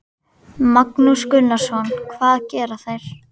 Magnús Gunnarsson: Hvað gera þeir?